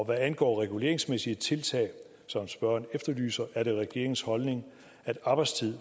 hvad angår reguleringsmæssige tiltag som spørgeren efterlyser er det regeringens holdning at arbejdstid